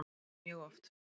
Já mjög oft.